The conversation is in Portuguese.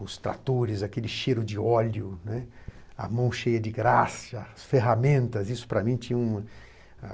os tratores, aquele cheiro de óleo, né, a mão cheia de graça, as ferramentas. Isso para mim tinha um